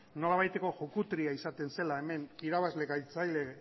nolabaiteko jukutria izaten zela hemen irabazle galtzaile